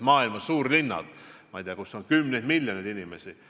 Maailma suurlinnades elab, ma ei tea, igaühes kümneid miljoneid inimesi.